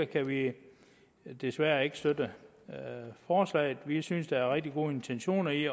kan vi desværre ikke støtte forslaget vi synes der er rigtig gode intentioner i